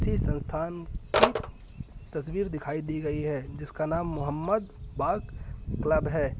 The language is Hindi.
किसी संस्थान की तस्वीर दिखाई दी गई है जिसका नाम मोहम्मद बाग क्लब है।